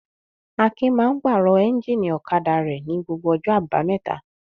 Akin máa ń pàrọ̀ ẹ́ńjínì ọ̀kadà rẹ̀ ní gbogbo ọjọ́ àbámẹ́ta.